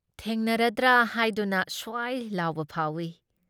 ꯊꯦꯡꯅꯔꯗ꯭ꯔꯥ ꯍꯥꯏꯗꯨꯅ ꯁ꯭ꯋꯥꯏ ꯂꯥꯎꯕ ꯐꯥꯎꯏ ꯫